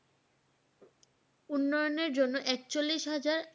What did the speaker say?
উন্নয়নের জন্য একচল্লিশ হাজার